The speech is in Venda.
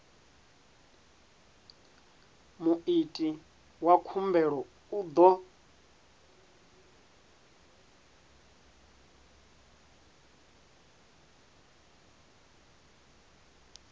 muiti wa khumbelo u ḓo